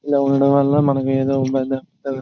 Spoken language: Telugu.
ఇలా ఉండడం వల్ల మనం ఏదో పెద్ద --